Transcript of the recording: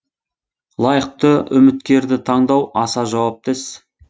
лайықты үміткерді таңдау аса жауапты іс